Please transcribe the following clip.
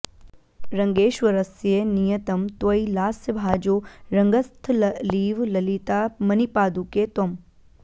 रङ्गेश्वरस्य नियतं त्वयि लास्यभाजो रङ्गस्थलीव ललिता मणिपादुके त्वम्